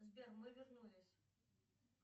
сбер мы вернулись